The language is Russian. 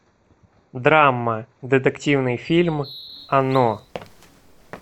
драма детективный фильм оно